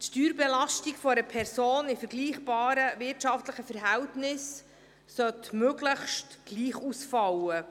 Die Steuerbelastung von Personen in vergleichbaren wirtschaftlichen Verhältnissen sollte möglichst gleich ausfallen.